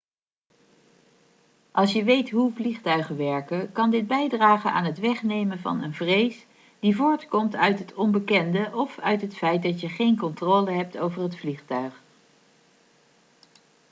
als je weet hoe vliegtuigen werken kan dit bijdragen aan het wegnemen van een vrees die voortkomt uit het onbekende of uit het feit dat je geen controle hebt over het vliegtuig